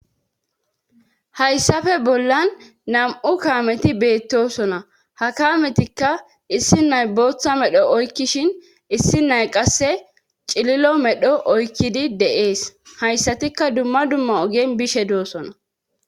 hayssafe bollan nam7u kaameti beettosona ha kaametikka issi nay botha medho oykkishin issi nay qasse cililo medho oykkidi de7ees hayssatikka dumma dumma ogen bishe doossona